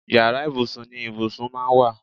Yàrá ibùsùn ni ibùsùn máa ń wà